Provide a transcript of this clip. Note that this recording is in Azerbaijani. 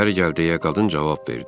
İçəri gəl deyə qadın cavab verdi.